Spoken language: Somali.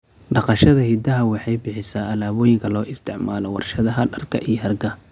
Dhaqashada idaha waxay bixisaa alaabooyinka loo isticmaalo warshadaha dharka iyo hargaha.